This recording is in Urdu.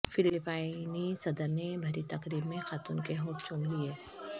فلپائنی صدر نے بھری تقریب میں خاتون کے ہونٹ چوم لیے